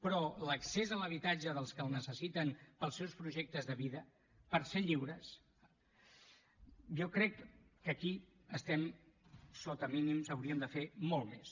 però en l’accés a l’habitatge dels que el necessiten per als seus projectes de vida per ser lliures jo crec que aquí estem sota mínims hauríem de fer molt més